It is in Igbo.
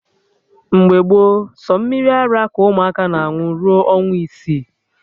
Mgbe gboo, sọ mmiri ara ka ụmụaka na aṅụ rue ọnwa isii